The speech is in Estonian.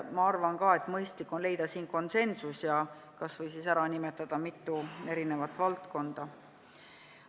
Ma arvan ka, et mõistlik on leida konsensus ja kas või ära nimetada mitu valdkonda.